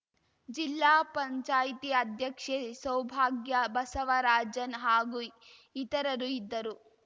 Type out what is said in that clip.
ಜಿಲ್ಲಾ ಪಂಚಾಯ್ತಿ ಅಧ್ಯಕ್ಷೆ ಸೌಭಾಗ್ಯ ಬಸವರಾಜನ್‌ ಹಾಗೂ ಇತರರು ಇದ್ದರು